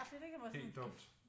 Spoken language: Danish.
Helt dumt